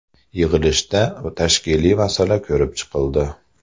Yig‘ilishda tashkiliy masala ko‘rib chiqildi.